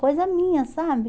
Coisa minha, sabe?